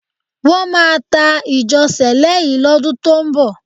Wọ́n máa ta ìjọ Sẹ̀lẹ́ yìí lọ́dún tó ń bọ̀.